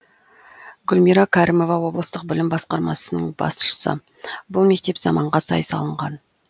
гүлмира кәрімова облыстық білім басқармасының басшысы бұл мектеп заманға сай салынған